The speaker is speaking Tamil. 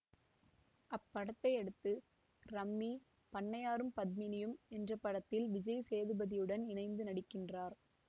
அப்படத்தையடுத்து ரம்மி பண்ணையாரும் பத்மினியும் என்ற படத்தில் விஜய் சேதுபதியுடன் இணைந்து நடிக்கின்றார்